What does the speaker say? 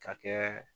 Ka kɛ